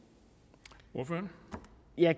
er